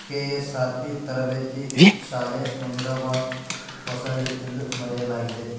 KSRP ತರಬೇತಿ ಶಾಲೆ ಮುನಿರಾಬಾದ್ ಹೊಸಳ್ಳಿ ಎಂದು ಬರೆಯಲಾಗಿದೆ.